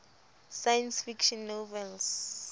science fiction novels